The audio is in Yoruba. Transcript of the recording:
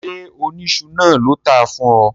Ṣé oníṣu náà ló tàá fún ọ?